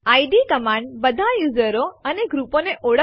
ધારો કે આપણી પાસે બીજી ફાઇલ છે જેનું નામ છે અનિર્બાણ